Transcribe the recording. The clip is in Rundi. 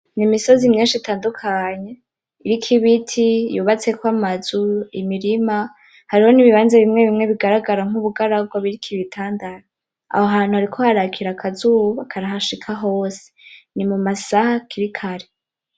Ni imisozi myinshi itandukanye iriko ibiti, yubatseko amazu, imirima, hariho n'ibibanza bimwe bimwe bigaragara nkubugaragwa biriko ibitandara. Aho hantu hariko harakira akazuba karahashika hose, ni mumasaha hakiri kare.